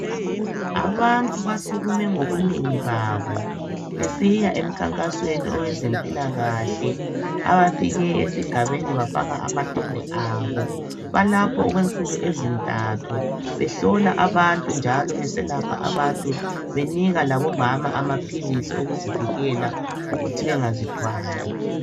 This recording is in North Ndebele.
Abantu basukume ngobunengi babo. Besiya emkhankasweni wezempilakahle. Abafike esigabeni, bafaka amatende abo. Balapho okwensuku ezintathu. Behlola abantu, njalo beselapha abantu. Benika labomama, amaphilisi okuvikela okuthi bangazithwali.